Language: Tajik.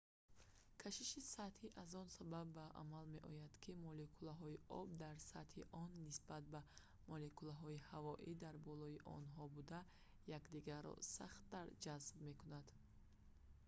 кашиши сатҳӣ аз он сабаб ба амал меояд ки молекулаҳои об дар сатҳи он нисбат ба молекулаҳои ҳавои дар болои онҳо буда якдигарро сахттар ҷазб мекунанд